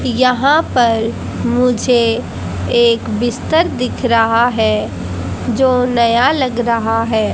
यहां पर मुझे एक बिस्तर दिख रहा है जो नया लग रहा है।